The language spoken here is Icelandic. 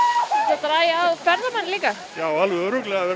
dragi að ferðamenn líka alveg örugglega verður